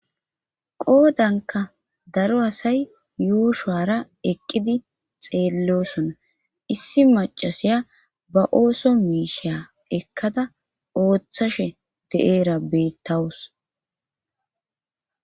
qoodanka daro asay yuushara eqqidi xeellosona issi macasiya ba ooso miisha ekkada ooththashe de7eera bettawus